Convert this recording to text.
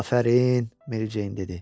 Afərin Mericeyn dedi.